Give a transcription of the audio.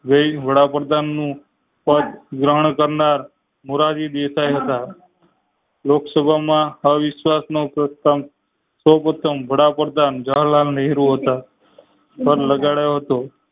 વડાપ્રધાન નું પેડ ગ્રહણ કરનાર મોરારી દેસાઈ હતા લોક સભામાં અવિશ્વાસ નો પ્રથમ સૌપ્રથમ જવાહરલાલ નહેરુ હતા